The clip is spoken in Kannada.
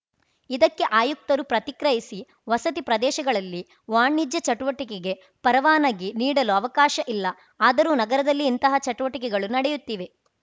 ಇದಕ್ಕೆ ಆಯುಕ್ತರು ಪ್ರತಿಕ್ರಯಿಸಿ ವಸತಿ ಪ್ರದೇಶಗಳಲ್ಲಿ ವಾಣಿಜ್ಯ ಚಟುವಟಿಕೆಗೆ ಪರವಾನಗಿ ನೀಡಲು ಅವಕಾಶ ಇಲ್ಲ ಆದರೂ ನಗರದಲ್ಲಿ ಇಂತಹ ಚಟುವಟಿಕೆಗಳು ನಡೆಯುತ್ತಿವೆ